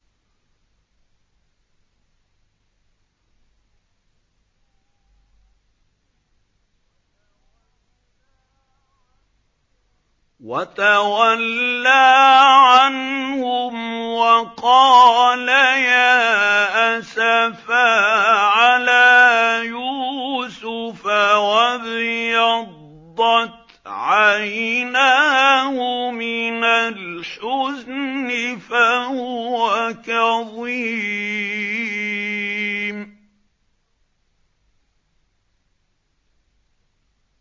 وَتَوَلَّىٰ عَنْهُمْ وَقَالَ يَا أَسَفَىٰ عَلَىٰ يُوسُفَ وَابْيَضَّتْ عَيْنَاهُ مِنَ الْحُزْنِ فَهُوَ كَظِيمٌ